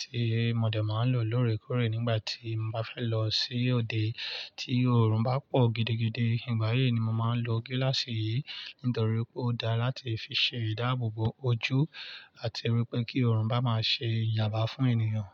tí mo dè máa ń lò lóòrèkóòrè nígbà tí mo bá fẹ́ lọ sí òde tí oorun bá pọ̀ gidigidi. Ìgbà yìí ni mo máa ń lo gíláàsì yìí, nítorí pé ó dára láti fi ṣe ìdáàbòbò ojú àti wípé kí oorun bá máa ṣe ìjàmbá fún ènìyàn.